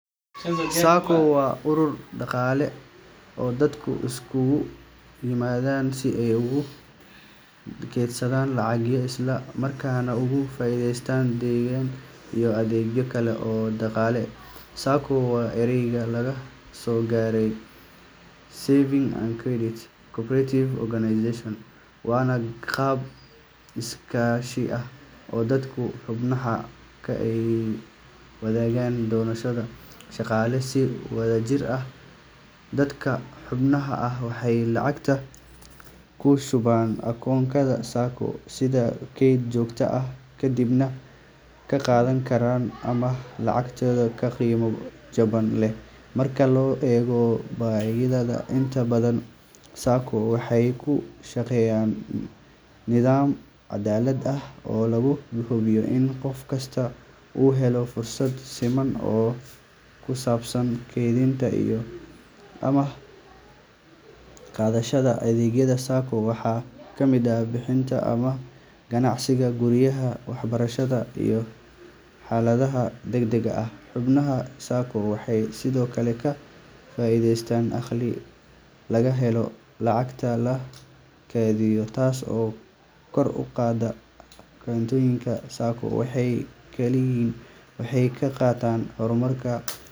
SACCO waa urur dhaqaale oo dadku iskugu yimaadaan si ay ugu kaydsadaan lacag, isla markaana uga faa’iidaystaan deyn iyo adeegyo kale oo dhaqaale. SACCO waa eray laga soo gaabiyey Savings and Credit Cooperative Organization, waana qaab iskaashi oo dadka xubnaha ka ah ay wadaagaan danahooda dhaqaale si wadajir ah. Dadka xubnaha ah waxay lacag ku shubaan akoonnada SACCO sida kayd joogto ah, kadibna marka ay baahiyaan ama qorsheeyaan, waxay ka qaadan karaan amaah lacageed oo qiimo jaban leh marka loo eego bangiyada. Inta badan SACCO waxay ku shaqeeyaan nidaam cadaalad ah oo lagu hubiyo in qof kasta uu helo fursad siman oo ku saabsan kaydinta iyo amaah qaadashada. Adeegyada SACCO waxaa ka mid ah bixinta amaahda ganacsiga, guryaha, waxbarashada, iyo xaaladaha degdegga ah. Xubnaha SACCO waxay sidoo kale ka faa’iidaystaan dakhli laga helo lacagaha la kaydiyo, taas oo kor u qaadda hantidooda. SACCO waxay kaalin weyn ka qaataan horumarinta.